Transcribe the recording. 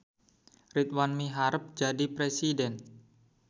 Ridwan miharep jadi presiden